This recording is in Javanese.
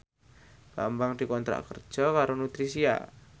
Bambang dikontrak kerja karo Nutricia